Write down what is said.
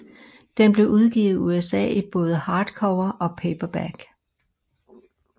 Den blev udgivet i USA i både hardcover og paperback